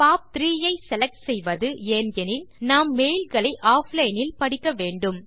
பாப்3 ஐ செலக்ட் செய்வது ஏன் எனில் நாம் மெயில் களை ஆஃப்லைன் இல் படிக்க வேண்டும்